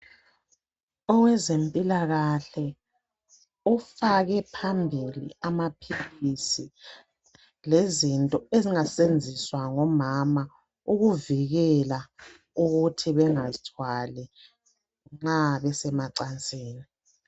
owezempilakahle ofake phambili amaphilisi lezinto ezingasebenziswa ngomama ukuvikela ukuthi bengazithwali nxa besemacansini